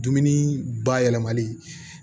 Dumuni bayɛlɛmali